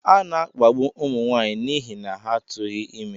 A na-akpagbu ụmụ nwaanyị n'ihi na ha tụghị ime.